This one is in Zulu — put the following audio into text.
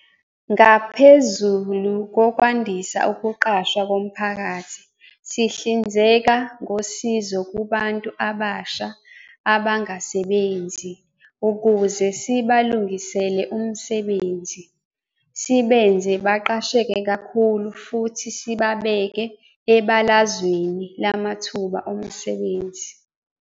Ngaphezulu kokwandisa ukuqashwa komphakathi, sihlinzeka ngosizo kubantu abasha abangasebenzi ukuze sibalungisele umsebenzi, sibenze baqasheke kakhulu futhi sibabeke ebalazweni lamathuba omsebenzi.